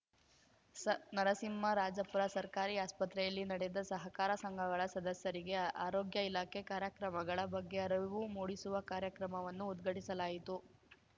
ನರಸಿಂಹರಾಜಪುರ ಸರ್ಕಾರಿ ಆಸ್ಪತ್ರೆಯಲ್ಲಿ ನಡೆದ ಸಹಕಾರ ಸಂಘಗಳ ಸದಸ್ಯರಿಗೆ ಆರೋಗ್ಯ ಇಲಾಖೆ ಕಾರ್ಯಕ್ರಮಗಳ ಬಗ್ಗೆ ಅರಿವು ಮೂಡಿಸುವ ಕಾರ್ಯಕ್ರಮವನ್ನು ಉದ್ಘಾಟಿಸಲಾಯಿತು